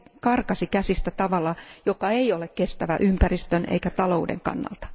se karkasi käsistä tavalla, joka ei ole kestävä ympäristön eikä talouden kannalta.